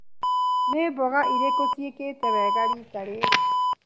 Nĩ mboga irikũ cĩikĩte wega rita rĩrĩ.